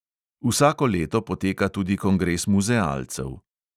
Vsako leto poteka tudi kongres muzealcev.